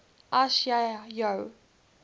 as jy jou